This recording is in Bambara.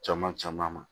Caman caman